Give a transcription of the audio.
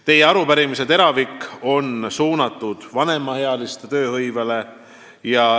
Teie arupärimise teravik on suunatud vanemaealiste tööhõivele.